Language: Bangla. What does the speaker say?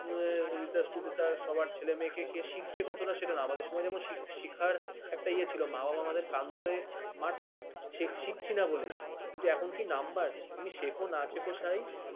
সবার ছেলে-মেয়েকে সে শিখছে কতটা আমাদের সঙ্গে যতটা শেখার একটা ইয়ে ছিল মানে । বাবা আমাদের কান ধরে মারতেন শিখছনা বলে । কিন্তু এখন কি number তুমি শেখো না শেখো